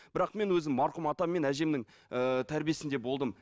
бірақ мен өзім марқұм атам мен әжемнің ііі тәрбиесінде болдым